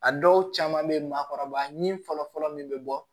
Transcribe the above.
A dɔw caman bɛ ye maakɔrɔba ni fɔlɔfɔlɔ min bɛ bɔ